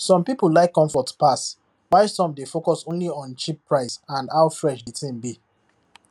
some people like comfort pass while some dey focus only on cheap price and how fresh the thing be